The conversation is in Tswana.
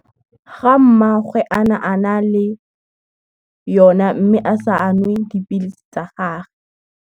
Ga mmagwe a na a na le, yona mme a sa a nwe dipilisi tsa gage.